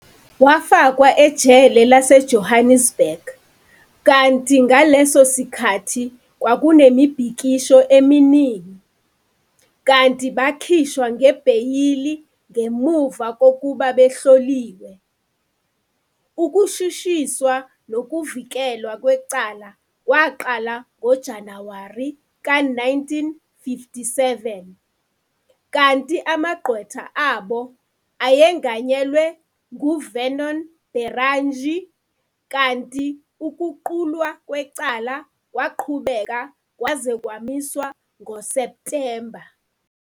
Wafakwa ejele laseJohannesburg, kanti ngaleso sikhathi kwakunemibhikisho eminingi, kanti bakhishwa ngebheyili ngemuva kokuba behloliwe. Ukushushiswa nokuvikelwa kwecala kwaqala ngoJanuwari ka-1957, kanti amagqwetha abo, ayenganyelwe ngu-Vernon Berrangé, kanti ukuqulwa kwecala kwaqhubeka kwaze kwamiswa ngoSeptemba.